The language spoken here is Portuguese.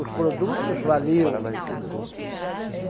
Os produtos valiam.